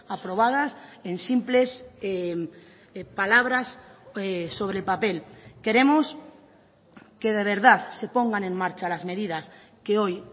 aprobadas en simples palabras sobre el papel queremos que de verdad se pongan en marcha las medidas que hoy